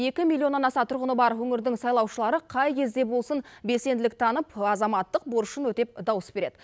екі миллионнан аса тұрғыны бар өңірдің сайлаушылары қай кезде болсын белсенділік танып азаматтық борышын өтеп дауыс береді